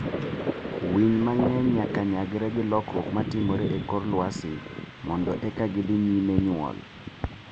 Winy mang'eny nyaka nyagre gi lokruok ma timore e kor lwasi mondo eka gidhi nyime nyuol.